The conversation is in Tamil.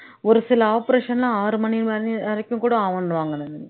ஒரு சில operation ல ஆறு மணி வ வரைக்கும் கூட ஆவணுவாங்க